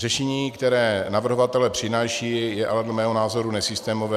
Řešení, které navrhovatelé přinášejí, je ale dle mého názoru nesystémové.